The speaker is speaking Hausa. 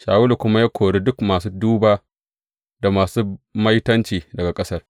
Shawulu kuma ya kori duk masu duba da masu maitanci daga ƙasar.